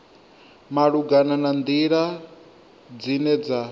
malugana na nḓila dzine dza